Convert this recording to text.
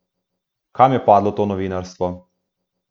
Kam je padlo to novinarstvo?